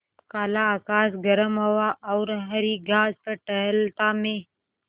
काला आकाश गर्म हवा और हरी घास पर टहलता मैं